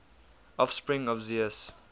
offspring of zeus